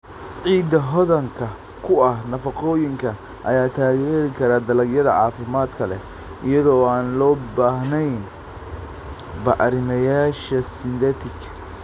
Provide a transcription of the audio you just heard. Ciidda hodanka ku ah nafaqooyinka ayaa taageeri kara dalagyada caafimaadka leh iyada oo aan loo baahnayn bacrimiyeyaasha synthetic.